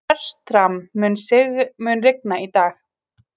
Fertram, mun rigna í dag?